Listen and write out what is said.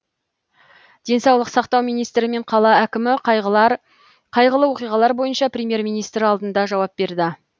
денсаулық сақтау министрі мен қала әкімі қайғылы оқиғалар бойынша премьер министр алдында жауап берді